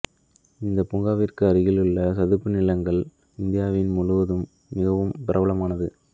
இந்த பூங்காவிற்கு அருகிலுள்ள சதுப்பு நிலங்கள் இந்தியா முழுவதும் மிகவும் பிரபலமானது